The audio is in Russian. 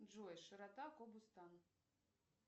джой широта кобустан